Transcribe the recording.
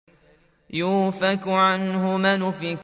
يُؤْفَكُ عَنْهُ مَنْ أُفِكَ